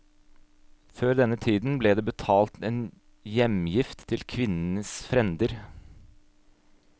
Før denne tiden ble det betalt en hjemgift til kvinnens frender.